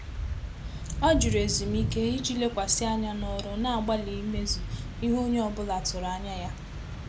Ọ́ jụ́rụ̀ ézùmíké ìjí lékwàsị́ ányá n’ọrụ́, nà-àgbàlí ímézù ìhè ónyé ọ bụ́lá tụ́rụ̀ ányá yá.